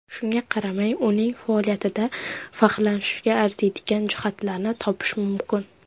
Shunga qaramay, uning faoliyatida faxrlanishga arziydigan jihatlarni topish mumkin.